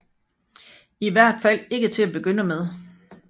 I hvert fald ikke til at begynde med